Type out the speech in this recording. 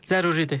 Zəruridir.